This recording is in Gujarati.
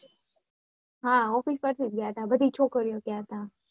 હા office પર થી જ ગયેલા બધી છોકરીઓ ગયા હતા અચ્છા